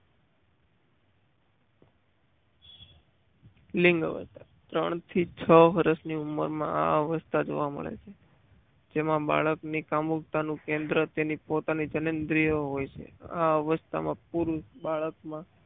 લિંગ અવસ્થા ત્રણ થી છ વર્ષની ઉંમરે મા આ અવસ્થા જોવા મળે છે જેમાં બાળકની કામુકતા નું કેન્દ્ર તેના પોતાની જનન્યો હોય છે આ અવસ્થામાં પુરુષ બાળકમાં